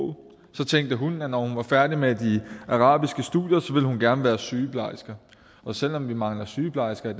så tænkte hun at når hun var færdig med de arabiske studier ville hun gerne være sygeplejerske men selv om vi mangler sygeplejersker i